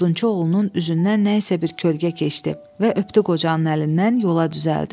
Odunçu oğlunun üzündən nə isə bir kölgə keçdi və öpdü qocanın əlindən, yola düzəldi.